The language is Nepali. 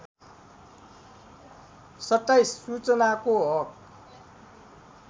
२७ सूचनाको हक